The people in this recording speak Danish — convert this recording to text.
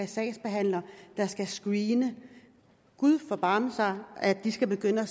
sagsbehandlere der skal screene gud forbarme sig at de skal begynde at